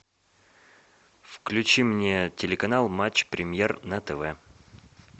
включи мне телеканал матч премьер на тв